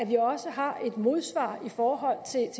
vi også har et modsvar jeg står